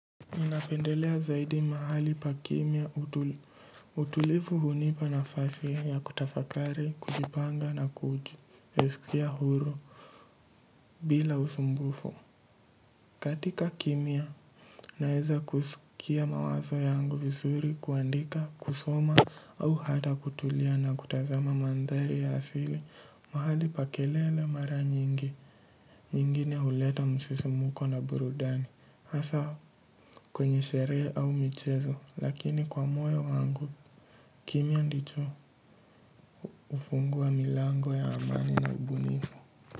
Mimi napendelea zaidi mahali pa kimya utulivu hunipa nafasi ya kutafakari, kujipanga na kujisikia huru bila usumbufu. Katika kimya, naeza kusikia mawazo yangu vizuri kuandika, kusoma au hat kutulia na kutazama mandhari ya asili. Mahali pa kelele mara nyingi, nyingine huleta msisimuko na burudani. Hasaa kwenye sherehe au michezo lakini kwa moyo wangu kimya ndicho hufungua milango ya amani na ubunifu.